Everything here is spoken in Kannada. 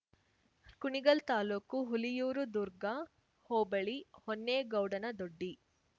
ಕುಣಿಗಲ್ ತಾಲ್ಲೂಕು ಹುಲಿಯೂರು ದುರ್ಗ ಹೋಬಳಿ ಹೊನ್ನೆಗೌಡನ ದೊಡ್ಡಿ